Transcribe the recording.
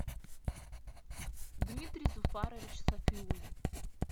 дмитрий зуфарович сафиулин